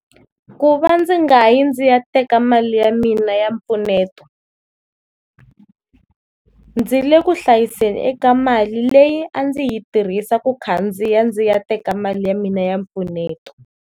Ku va ndzi nga yi ndzi ya teka mali ya mina ya mpfuneto, ndzi le kuhlayiseni eka mali leyi a ndzi yi tirhisa ku khandziya ndzi ya teka mali ya mina ya mpfuneto.